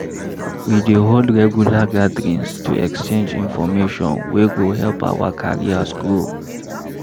We dey hold regular gatherings to exchange information wey go help our careers grow.